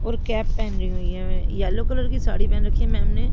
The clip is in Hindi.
और कैप पहनी हुई हैं येलो कलर की साड़ी पहन रखी हैं मैम ने--